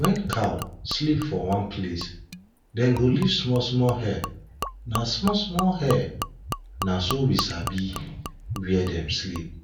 when cow sleep for one place dem go leave smallsmall hair na smallsmall hair na so we sabi where dem sleep